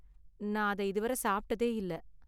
நான் அத இதுவரை சாப்பிட்டதே இல்ல.